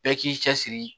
Bɛɛ k'i cɛsiri